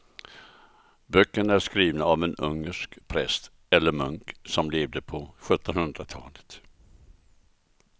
Böckerna är skrivna av en ungersk präst eller munk som levde på sjuttonhundratalet.